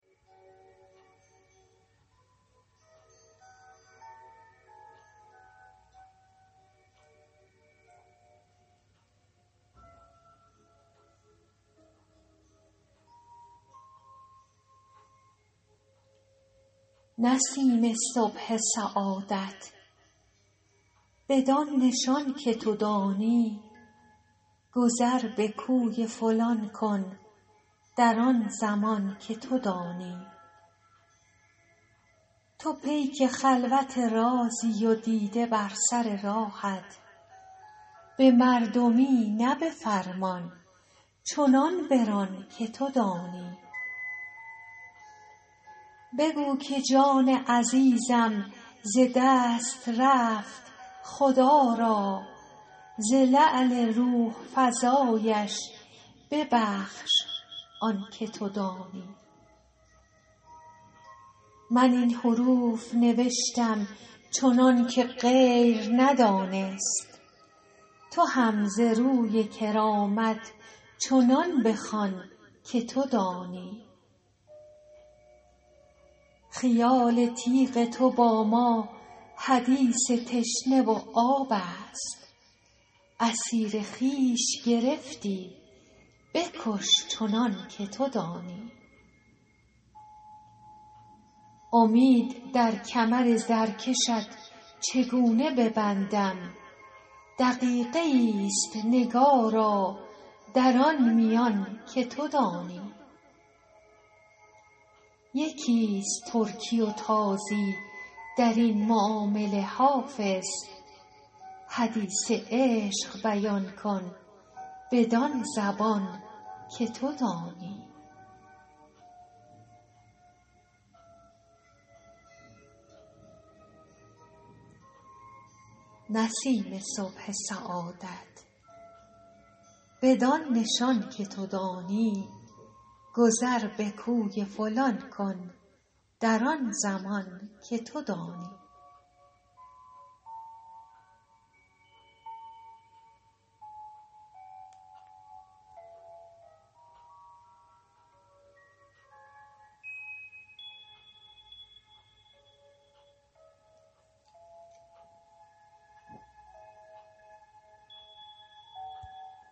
نسیم صبح سعادت بدان نشان که تو دانی گذر به کوی فلان کن در آن زمان که تو دانی تو پیک خلوت رازی و دیده بر سر راهت به مردمی نه به فرمان چنان بران که تو دانی بگو که جان عزیزم ز دست رفت خدا را ز لعل روح فزایش ببخش آن که تو دانی من این حروف نوشتم چنان که غیر ندانست تو هم ز روی کرامت چنان بخوان که تو دانی خیال تیغ تو با ما حدیث تشنه و آب است اسیر خویش گرفتی بکش چنان که تو دانی امید در کمر زرکشت چگونه ببندم دقیقه ای است نگارا در آن میان که تو دانی یکی است ترکی و تازی در این معامله حافظ حدیث عشق بیان کن بدان زبان که تو دانی